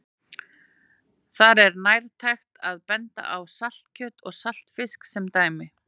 Þar er nærtækt að benda á saltkjöt og saltfisk sem dæmi.